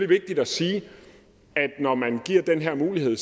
vigtigt at sige at når man giver den her mulighed